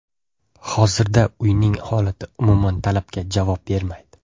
Hozirda uyning holati umuman talabga javob bermaydi.